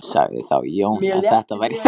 Sagði þá Jón að þetta væri ekki rétt.